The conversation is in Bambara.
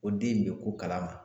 O den in bɛ ko kalama